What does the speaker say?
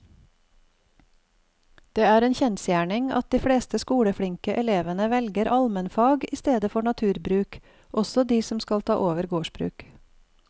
Det er en kjensgjerning at de fleste skoleflinke elevene velger allmennfag i stedet for naturbruk, også de som skal ta over gårdsbruk.